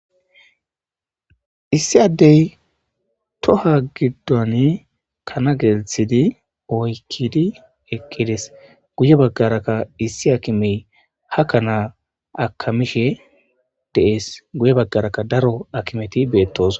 Issi addey toha giddon kana gelthidi oykkidi eqqides guye baggarakka issi akimey hakkanaa akamishe dees guye baggarakka daro akimeti beettos.